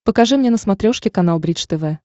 покажи мне на смотрешке канал бридж тв